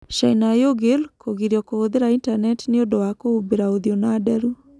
China Uighur: Kũgirio kũhũthĩra intaneti nĩ ũndũ wa kũhumbĩra ũthiũ na nderu